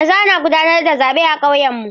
Yanzu ana gudanar da zaɓe a kauyenmu.